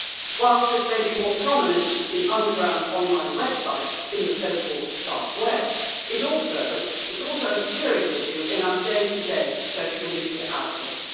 Whilst this may be more prominent in underground online websites on the so called Dark Web', it is also a serious issue in our day to day social media outlets.